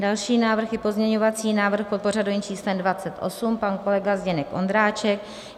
Další návrh je pozměňovací návrh pod pořadovým číslem 28, pan kolega Zdeněk Ondráček.